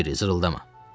Di Kiriz, zırıldama, dedim.